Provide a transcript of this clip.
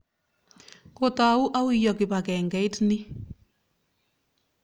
Kotou auyo kipakengeit ni?